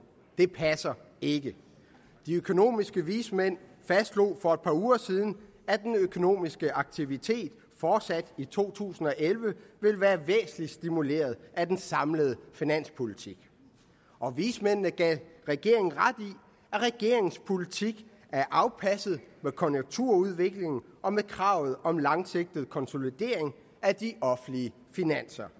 det passer ikke de økonomiske vismænd fastslog for et par uger siden at den økonomiske aktivitet fortsat i to tusind og elleve vil være væsentlig stimuleret af den samlede finanspolitik og vismændene gav regeringen ret i at regeringens politik er afpasset med konjunkturudviklingen og med kravet om en langsigtet konsolidering af de offentlige finanser